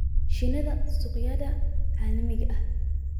shinida suuqyada caalamiga ah.